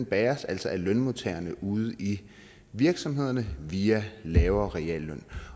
bæres altså af lønmodtagerne ude i virksomhederne via en lavere realløn